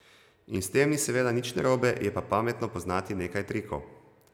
In s tem ni seveda nič narobe, je pa pametno poznati nekaj trikov.